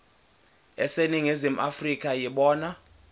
aseningizimu afrika yibona